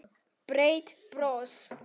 Breitt bros.